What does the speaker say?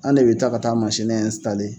An de bɛ taa ka taa mansini